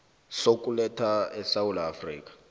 sokuletha esewula afrika